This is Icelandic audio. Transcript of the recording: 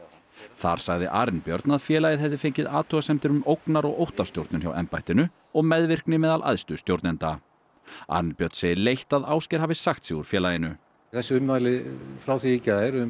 þar sagði Arinbjörn að félagið hefði fengið athugasemdir um ógnar og óttastjórnun hjá embættinu og meðvirkni meðal æðstu stjórnenda Arinbjörn segir leitt að Ásgeir hafi sagt sig úr félaginu þessi ummæli frá því í gær um